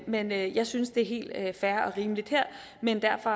men jeg jeg synes det er helt fair og rimeligt her men derfor